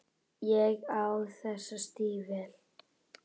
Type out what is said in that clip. Ég á þessi stígvél.